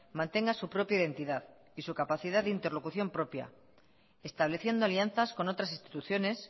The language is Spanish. mantenga su propia identidad y su capacidad de interlocución propia estableciendo alianzas con otras instituciones